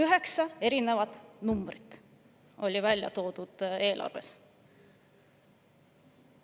Eelarves oli välja toodud üheksa erinevat numbrit.